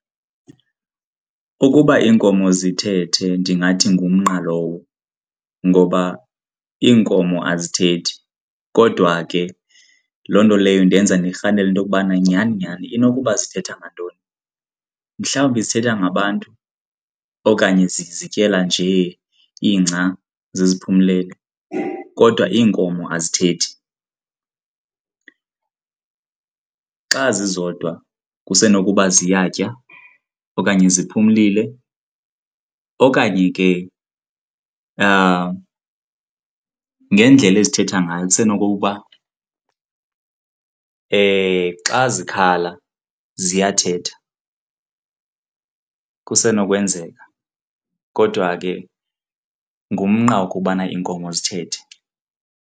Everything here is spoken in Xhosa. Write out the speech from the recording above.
Ukuba iinkomo zithethe ndingathi ngumnqa lowo ngoba iinkomo azithethi kodwa ke loo nto leyo indenza ndirhalele into yokubana nyhani nyhani inokuba zithetha ngantoni. Mhlawumbi zithetha ngabantu okanye zizityela nje ingca ziphumelele? Kodwa iinkomo azithethi. Xa zizodwa kusenokuba ziyatya okanye ziphumile okanye ke ngendlela ezithetha ngayo kusenokuba xa zikhala ziyathetha, kusenokwenzeka. Kodwa ke ngumnqa ukubana iinkomo zithethe.